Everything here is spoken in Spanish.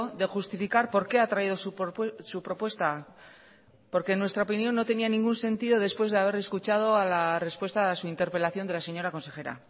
de justificar por qué ha traído su propuesta porque nuestra opinión no tenía ningún sentido después de haber escuchado a la respuesta a su interpelación de la señora consejera